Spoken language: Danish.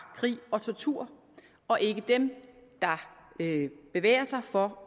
krig og tortur og ikke dem der bevæger sig for